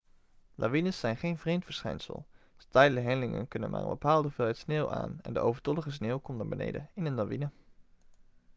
lawines zijn geen vreemd verschijnsel steile hellingen kunnen maar een bepaalde hoeveelheid sneeuw aan en de overtollige sneeuw komt naar beneden in een lawine